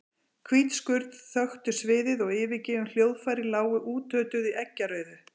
Hvít skurn þöktu sviðið og yfirgefin hljóðfæri lágu útötuð í eggjarauðu.